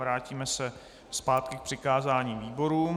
Vrátíme se zpátky k přikázání výborům.